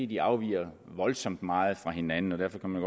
de afviger voldsomt meget fra hinanden og derfor kan man